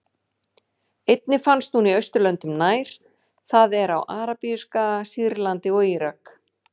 Einnig finnst hún í Austurlöndum nær, það er á Arabíuskaga, Sýrlandi og Írak.